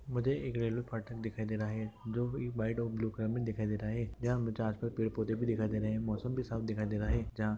मुझे एक रेलवे फाटक दिखाई दे रहा है जो एक वाइट और ब्लू कलर में दिखाई दे रहा है यहां में पेड़ पौधे भी दिखाई दे रहे हैं मौसम भी साफ दिखाई दे रहा है।